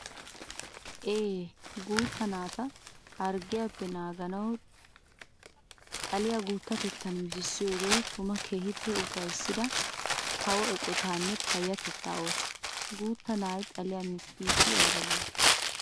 Ee! Guutta naata harggiyappe naagiya xaliya guutatettan mittissiyooge tuma keehippe ufayssidda kawo eqqottanne payatetta ooso. Guutta na'ay xaliya mittiddi aybba lo'i!